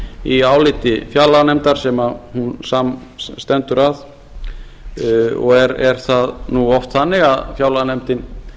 í áliti fjárlaganefndar sem hún saman stendur að og er það nú oft þannig að fjárlaganefndin